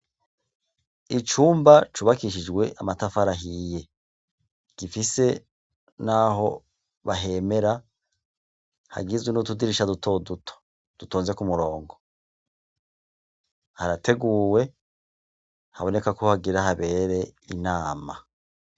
Icumba cubakishijwe amatafara ahiye, gifise naho bahemera hagizwe nutudirisha duto duto dutonze ku murongo, harateguwe haboneka kohagira habere inama.